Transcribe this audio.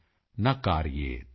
Agni Shesham Reena Shesham